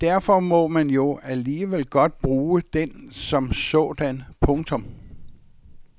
Men derfor må man jo alligevel godt bruge den som sådan. punktum